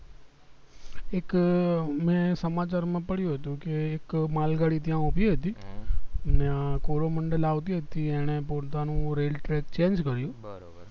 એક મેં સમાચાર માં પડ્યું હતું કે એક માલ ગાડી ત્યાં ઉભી હતી ને કોરોમંડલ આવતી હતી એને પોતાનું rail track change કર્યું